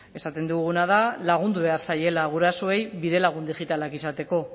esaten duguna da lagundu behar zaiela gurasoei bidelagun digitalak izateko